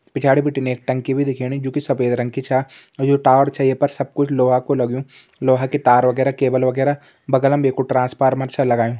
पिछाड़ी बिटिन एक टंकी भी दिखेणी जु कि सफेद रंग की छा और ये टावर छा ये पर सब कुछ लोहा कू लग्युं लोहा की तार वगैरा केबल वगैरा बगल में येकु ट्रांसफार्मर छा लगायुं।